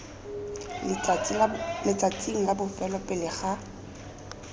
letsatsing la bofelo pele ga